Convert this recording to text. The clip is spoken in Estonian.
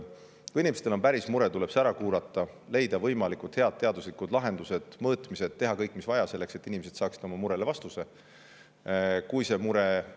Kui inimestel on päris mure, siis see tuleb ära kuulata, leida võimalikult head teaduslikud lahendused, teha ära mõõtmised ja kõik, mis on vaja, selleks et inimesed saaksid oma murele vastuse.